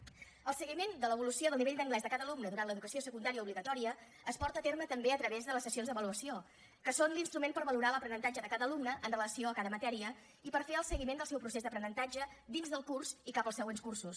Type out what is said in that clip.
el seguiment de l’evolució del nivell d’anglès de cada alumne durant l’educació secundària obligatòria es porta a terme també a través de les sessions d’avaluació que són l’instrument per valorar l’aprenentatge de cada alumne amb relació a cada matèria i per fer el seguiment del seu procés d’aprenentatge dins del curs i cap als següents cursos